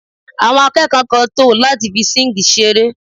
Àwọn akẹ́kọ̀ọ́ kan ń tò láti fi síǹgì ṣeré